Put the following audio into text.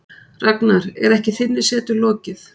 Ragnar, er ekki þinni setu lokið?